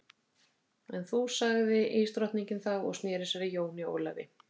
En þú sagði ísdrottningin þá og sneri sér að Jóni Ólafi.